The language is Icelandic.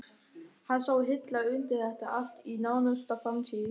Hann sá hilla undir þetta allt í nánustu framtíð.